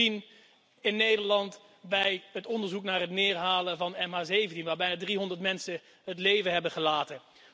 We hebben het gezien in Nederland bij het onderzoek naar het neerhalen van MH17, waarbij bijna 300 mensen het leven hebben gelaten.